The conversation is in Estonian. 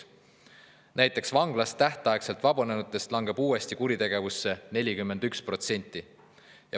Näiteks vanglast tähtaegselt vabanenutest langeb uuesti kuritegevusse 41%.